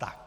Tak.